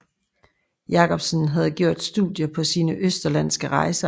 Jacobsen havde gjort studier på sine østerlandske rejser